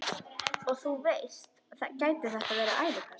Og þú veist, gæti þetta verið ælupest?